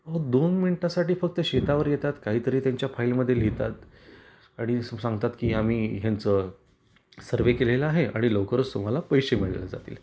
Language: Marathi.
अहोदोन मिनिटासाठी फक्त शेतावर येतात काही तरी त्यांच्या फाइल मध्ये लिहितात आणि सांगतात की आम्ही यांच सर्वे केलेल आहे आणि लवकरच तुम्हाला पैशे मिळले जातील.